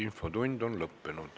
Infotund on lõppenud.